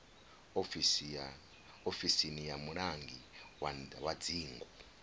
ofisini ya mulangi wa dzingu